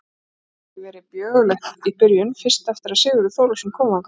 Það hafði ekki verið björgulegt í byrjun, fyrst eftir að Sigurður Þórólfsson kom þangað.